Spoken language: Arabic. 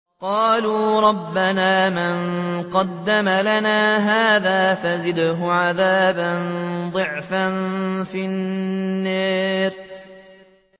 قَالُوا رَبَّنَا مَن قَدَّمَ لَنَا هَٰذَا فَزِدْهُ عَذَابًا ضِعْفًا فِي النَّارِ